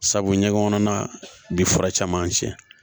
Sabu ɲɛgɛn kɔnɔna bi fura caman tiɲɛ